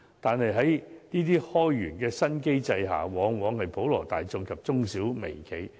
可是，在這些開源的新機制下，普羅大眾及中小微企往往是首當其衝。